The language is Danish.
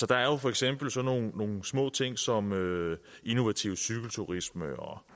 der er for eksempel sådan nogle små ting som innovativ cykelturisme og